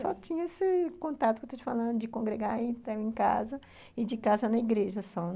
Só tinha esse contato que eu estou te falando de congregar e estar em casa, e de casa na igreja só.